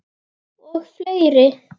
Og fleiri